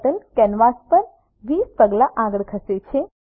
turtle canvas ઉપર 20 પગલા આગળ ખસે છે